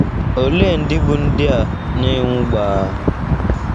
Olee ndị bụ́ ndị a na - enwu gbaa?